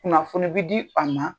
Kunnafoni be di a ma